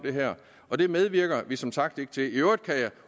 og det medvirker vi som sagt ikke til i øvrigt kan jeg